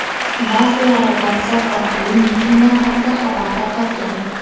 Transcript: Ba’zilari WhatsApp orqali mitinglar haqida xabar tarqatgan.